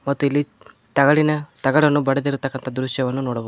ಮತ್ತು ಇಲ್ಲಿ ತಗಡಿನ ತಗಡನ್ನು ಬಡದಿರಕಂತ ದೃಶ್ಯವನ್ನು ನೋಡಬಹು--